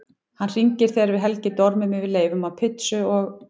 Hann hringir þegar við Helgi dormum yfir leifum af pizzu og